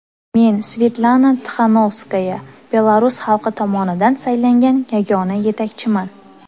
Men, Svetlana Tixanovskaya, belarus xalqi tomonidan saylangan yagona yetakchiman.